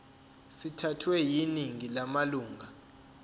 sithathwe yiningi lamalunga